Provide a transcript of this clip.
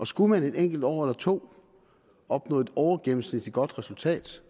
skulle man et enkelt år eller to opnå et overgennemsnitligt godt resultat